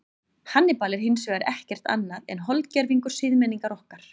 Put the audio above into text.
Hannibal er hins vegar ekkert annað en holdgervingur siðmenningar okkar.